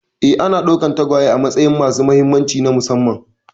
Ee, ana ɗaukar tagwaye a matsayin masu mahimmanci na musamman